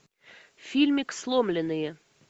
фильмик сломленные